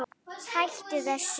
Hættu þessu